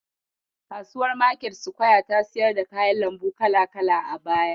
Kasuwar market square ta siyar da kayan lambu kala-kala a baya.